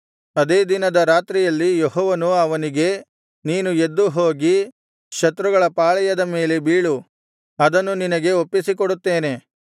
ಅದೇ ದಿನದ ರಾತ್ರಿಯಲ್ಲಿ ಯೆಹೋವನು ಅವನಿಗೆ ನೀನು ಎದ್ದು ಹೋಗಿ ಶತ್ರುಗಳ ಪಾಳೆಯದ ಮೇಲೆ ಬೀಳು ಅದನ್ನು ನಿನಗೆ ಒಪ್ಪಿಸಿಕೊಡುತ್ತೇನೆ